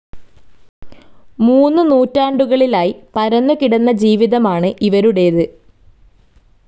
മൂന്നു നൂറ്റാണ്ടുകളിലായി പരന്നു കിടന്ന ജീവിതമാണു് ഇവരുടെത്.